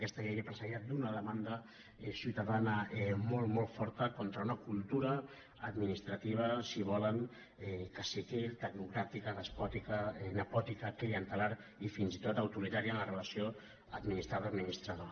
aquesta llei ve precedida d’una demanda ciutadana molt molt forta contra una cultura administrativa si ho volen caciquista tecnocràtica despòtica nepotista clientelar i fins i tot autoritària en la relació administrat administrador